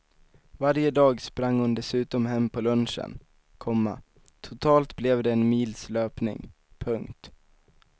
Varje dag sprang hon dessutom hem på lunchen, komma totalt blev det en mils löpning. punkt